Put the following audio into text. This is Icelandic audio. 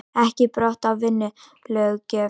Ekki brot á vinnulöggjöf